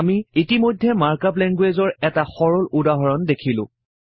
আমি ইতিমধ্যে mark up লেঙ্গুৱেইজৰ এটা সৰল উদাহৰণ দেখিলো